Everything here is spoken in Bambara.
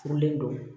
Furulen don